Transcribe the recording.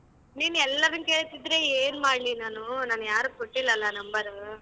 ನೀನ್ ಎಲ್ಲರನ್ ಕೇಳ್ತಿದ್ರೆ ಏನ್ ಮಾಡ್ಲಿ ನಾನು ನಾನ್ ಯಾರಿಗ್ ಕೊಟ್ಟಿಲ್ಲಲ್ಲ number ಉ.